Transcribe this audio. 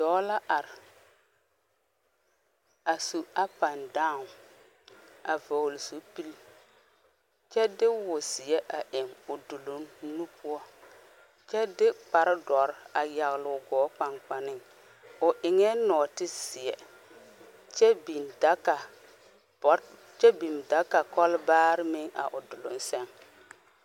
Dɔɔ la are a su up and down a vɔgle zupele kyɛ de wo ziɛ a eŋ o dugle nu poɔ kyɛ de kpare dɔre a yagle o gɔ kpankpanne o eŋa nɔɔte ziɛ kyɛ biŋ daga bo kyɛ biŋ daga kolbaare meŋ a o dogle saŋ.